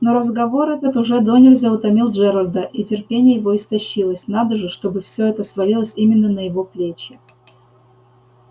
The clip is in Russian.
но разговор этот уже донельзя утомил джералда и терпение его истощилось надо же чтобы всё это свалилось именно на его плечи